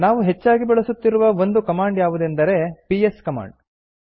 ನಾವು ಹೆಚ್ಚಾಗಿ ಬಳಸುತ್ತಿರುವ ಒಂದು ಕಮಾಂಡ್ ಯಾವುದೆಂದರೆ ಪಿಎಸ್ ಕಮಾಂಡ್